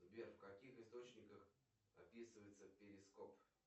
сбер в каких источниках описывается перископ